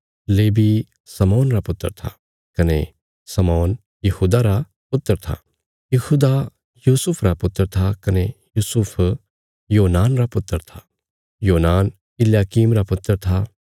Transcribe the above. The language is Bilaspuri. लेवी शमौन रा पुत्र था कने शमौन यहूदा रा पुत्र था यहूदा यूसुफ रा पुत्र था कने यूसुफ योनान रा पुत्र था योनान इल्याकीम रा पुत्र था